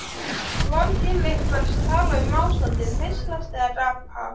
Var til einhvers að tala um ástandið, hneykslast eða gapa?